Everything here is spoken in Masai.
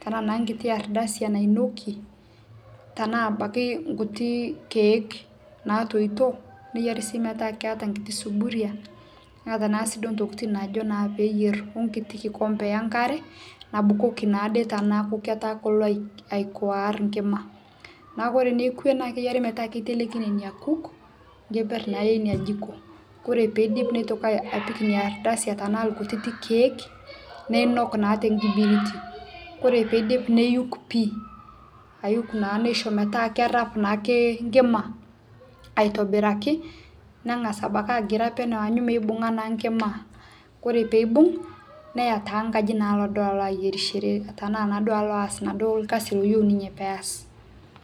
tanaa naa nkiti ardasi nainokie, tanaa abaki nkutii keeke naatoito. Neyari sii metaa keeta lsuburia, neeta sii ntokitin naajo naa peeyer onkiti nkikombe enkare nabukoki naade teneaku ketaa kolo aikuaaar nkima. Naaku ore nekwe naa keyari metaa keiteleki nena nkuuk nkeper naa eina jiko. Kore peidip neitoki apik inia ardasi tanaa lkutik keek, neinuak naa te nkibiriti. Kore peidip neiyuk pii, aiyuk neisho metaa kerasp naake nkima aitobiraki, nengas abaki agira peneu, aanyu meibung'a naa nkima. Kore peibung' neyaa taa nkaji alo naa duo ayerishore tanaa naaduo alo aas naaduo lkasi oyeu ninye.